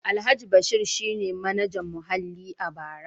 Alhaji Bashir shi ne Manajan Muhalli a bara.